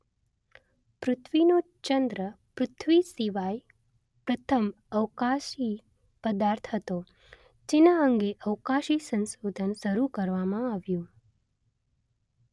પૃથ્વીનો ચંદ્ર પૃથ્વી સિવાય પ્રથમ અવકાશી પદાર્થ હતો જેના અંગે અવકાશી સંશોધન શરૂ કરવામાં આવ્યું